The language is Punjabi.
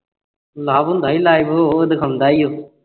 love ਹੁੰਦਾ ਸੀ live ਉਹ ਵਿਖਾਉਂਦਾ ਸੀ